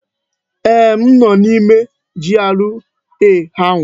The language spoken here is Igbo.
Eeh, m nọ n'ime GRA ahụ.